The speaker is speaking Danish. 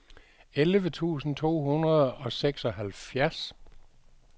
elleve tusind to hundrede og seksoghalvfjerds